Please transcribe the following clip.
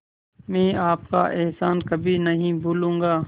मैं आपका एहसान कभी नहीं भूलूंगा